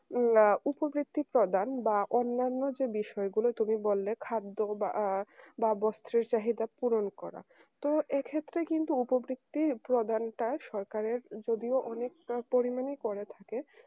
আ উপবৃত্তি প্রদান বা অন্যান্য যে বিষয়গুলো তুমি বললে খাদ্য বা আ বা বস্ত্রের চাহিদা পূরণ করা তো এক্ষেত্রে কিন্তু উপবৃত্তি প্রদানটা সরকারের যদিও অনেকটা পরিমাণই করে থাকে